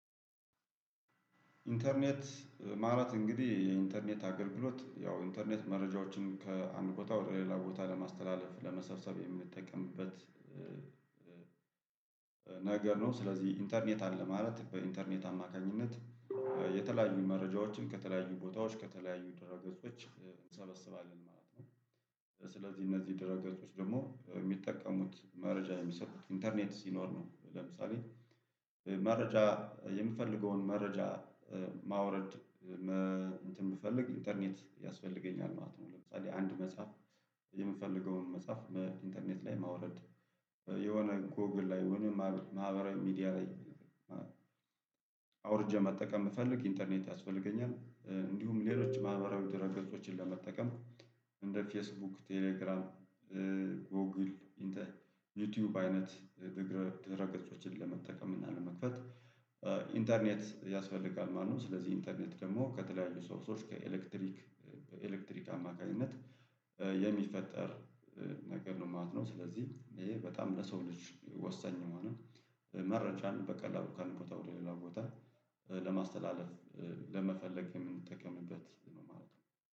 ኢንተርኔት ማለት እንግዲህ የኢንተርኔት አገልግሎት ያው ኢንተርኔት መረጃዎችን ከአንድ ቦታ ወደ ሌላ ቦታ ለማስተላለፍ ለመሰብሰብ የምንጠቀምበት። ነገር ነው ስለዚህ ኢንተርኔት አለ ማለት በኢንተርኔት አማካኝነት የተለያዩ መረጃዎችን ከተለያዩ ቦታዎች ከተለያዩ ድረ ገጾች እንሰበስባለን ማለት ነው። ስለዚህ እነዚህ ድረ ገጾች ደግሞ የሚጠቀሙት መረጃ የሚሰጡት ኢንተርኔት ሲኖር ነው። ለምሳሌ መረጃ የምፈልገውን መረጃ ማውረድ እንትን ብፈልግ ኢንተርኔት ያስፈልገኛል ማለት ነው። ለምሳሌ አንድ መጽሐፍ የምፈልገውን መጽሐፍ ኢንተርኔት ላይ ማውረድ የሆነ ጎግል ላይ ወይም ማህበራዊ ሚዲያ ላይ አውርጄ መጠቀም ብፈልግ ኢንተርኔት ያስፈልገኛል። እንዲሁም ሌሎች ማህበራዊ ድህረ ገጾችን ለመጠቀም እንደ ፌስቡክ ቴሌግራም ጎግል ዩቲዩብ አይነት ድህረ ገጾችን ለመጠቀም እና ለመክፈት ኢንተርኔት ያስፈልጋል ማለት ነው። ስለዚህ ኢንተርኔት ደግሞ ከተለያዩ ሶርሶች ከኤሌክትሪክ በኤሌክትሪክ አማካኝነት የሚፈጠር ነገር ነው ማለት ነው። ስለዚህ ይሄ በጣም ለሰው ልጅ ወሳኝ የሆነን መረጃን በቀላሉ ካንድ ቦታ ወደ ሌላ ቦታ ለማስተላለፍ ለመፈለግ የምንጠቀምበት ነው ማለት ነው